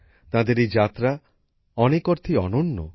তাদের এই যাত্রা অনেক অর্থেই অনন্য